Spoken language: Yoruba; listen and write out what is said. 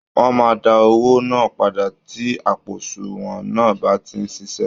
Wọ́n máa dá owó náà padà tí àpò àsunwọ̀n náà bá sì ń ṣiṣẹ́